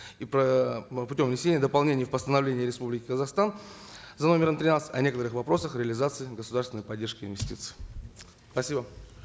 и путем внесения дополнений в постановление республики казахстан за номером тринадцать о некоторых вопросах реализации государственной поддержки и инвестиций спасибо